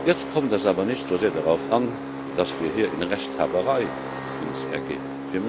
Jetzt kommt es aber nicht so sehr darauf an, dass wir uns hier in Rechthaberei ergehen.